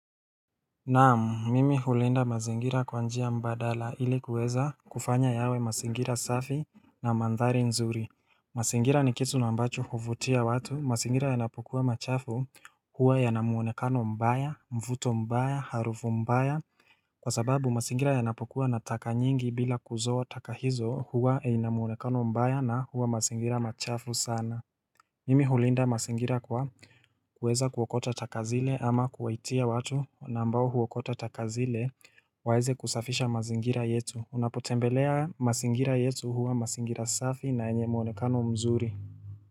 Naam, mimi hulinda mazingira kwa njia mbadala ili kuweza kufanya yawe mazingira safi na mandhari nzuri. Mazingira ni kitu na ambacho huvutia watu, mazingira yanapokuwa machafu huwa yana muonekano mbaya, mvuto mbaya, harufu mbaya. Kwa sababu, masingira yanapokuwa na taka nyingi bila kuzoa taka hizo huwa ina muonekano mbaya na huwa mazingira machafu sana. Mimi hulinda mazingira kwa kuweza kuokota taka zile ama kuwaitia watu na ambao huokota taka zile waweze kusafisha mazingira yetu. Unapotembelea mazingira yetu huwa mazingira safi na yenye muonekano mzuri.